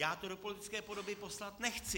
Já to do politické podoby poslat nechci.